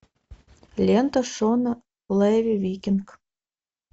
лента шона леви викинг